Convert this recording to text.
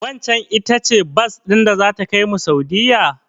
Waccen ita ce bas din da zata kaimu Saudiyya?